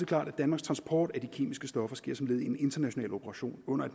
klart at danmarks transport af de kemiske stoffer sker som led i en international operation under